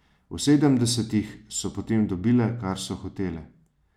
V sedemdesetih so potem dobile, kar so hotele.